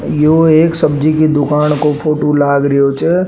यो एक सब्जी की दूकान को फोटो लाग रियो छे।